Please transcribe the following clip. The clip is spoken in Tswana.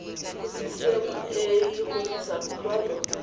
go ccma go tlisa kutlwano